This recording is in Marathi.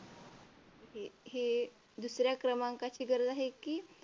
हे दुसऱ्या क्रमांकाची गरज आहे की.